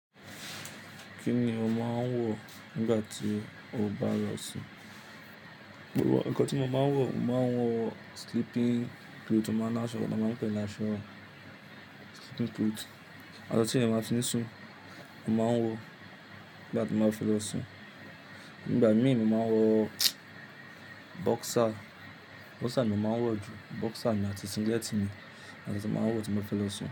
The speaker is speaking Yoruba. Kí ni o máa ń wọ̀ nígbà tí o bá lọ sùn? Òpọ̀wọ̀ ẹ̀kọ tí mo máa ń wọ̀, mo máa ń wọ̀ sleeping suit mo máa láṣọ, mo máa pè é láṣọ sleeping suit. Àná tí èèyàn bá máa fi sùn, mo máa ń wọ̀ nígbà tí mo bá fẹ́ lọ sùn. Nígbà mí mo máa ń wọ̀ boxer, boxer ni mo máa ń wọ̀ jù. Boxer mi àti singlet mi ni mo máa ń wọ tí mo fẹ́ lọ sùn.